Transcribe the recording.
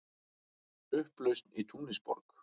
Upplausn í Túnisborg